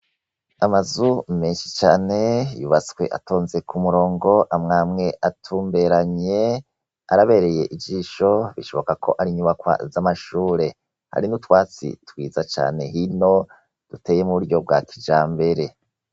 Amazu menshi cane yubatswe atonze ku murongo amwe amwe atumberanye araberey'ijisho ,ucubanza ko ar'inyubakwa z'amashure. Hariho utwatsi twiza cane ino duteye mu buryo bwa kijambere.